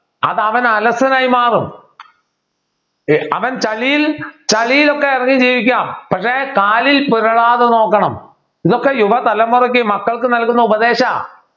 അത് അവനെ അലസനായി മാറും അവൻ ചളിയിൽ ചളിയിലൊക്കെ ഇറങ്ങി ജീവിക്കാ പക്ഷേ കാലിൽ പുരളാതെ നോക്കണം ഇതൊക്കെ യുവ തലമുറയ്ക്ക് മക്കൾക്ക് നൽകുന്ന ഉപദേശാ